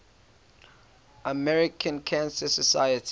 american cancer society